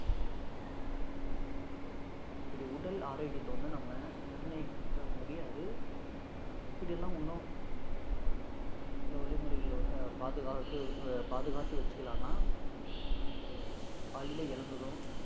இப்படி உடல் ஆரோக்கியத்தை வந்து நம்ம நிர்ணயிக்க முடியாது, அதை நம்ம எப்படி எல்லாம் இன்னும் ஹம் சில வழிமுறைகள் பாதுகாத்தது அஹ் பாதுகாத்து வச்சுக்கலாம்னா ஹம் காலையிலே எழுந்ததும்